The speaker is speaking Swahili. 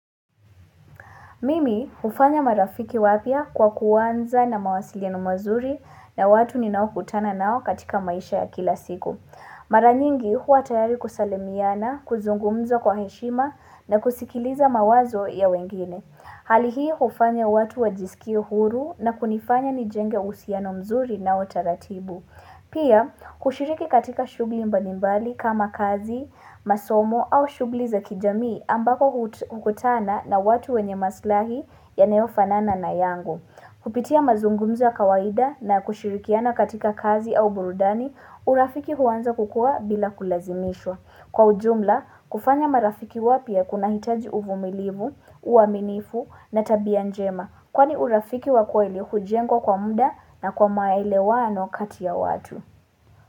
Mimi hufanya marafiki wapya kwa kuanza na mawasilieno mazuri na watu ninaokutana nao katika maisha ya kila siku. Mara nyingi huwa tayari kusalimiana, kuzungumza kwa heshima na kusikiliza mawazo ya wengine. Hali hii hufanya watu wajisikie huru na kunifanya nijenge uhusiano mzuri nao taratibu. Pia, kushiriki katika shughuli mbalimbali kama kazi, masomo au shughuli za kijamii ambako hukutana na watu wenye maslahi yanayofanana na yangu. Kupitia mazungumza ya kawaida na kushirikiana katika kazi au burudani, urafiki huanza kukua bila kulazimishwa. Kwa ujumla, kufanya marafiki wapya kunahitaji uvumilivu, uaminifu na tabia njema Kwani urafiki wa kweli hujengkwa kwa muda na kwa maelewano kati ya watu.